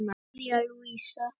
María Lúísa.